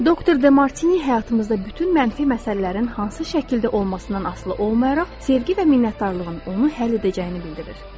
Doktor De Martini həyatımızda bütün mənfi məsələlərin hansı şəkildə olmasından asılı olmayaraq sevgi və minnətdarlığın onu həll edəcəyini bildirir.